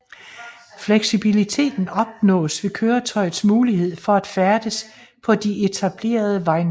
Fleksibiliteten opnås ved køretøjets mulighed for at færdes på de etablerede vejnet